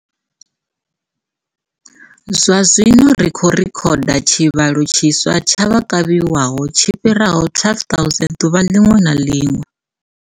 Zwazwino ri khou rekhoda tshivhalo tshiswa tsha vha kavhiwaho tshi fhiraho 12 000 ḓuvha ḽiṅwe na ḽiṅwe.